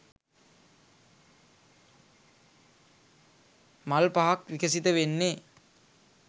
මල් පහක් විකසිත වෙන්නේ.